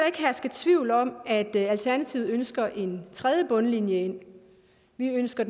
ikke herske tvivl om at alternativet ønsker en tredje bundlinje vi ønsker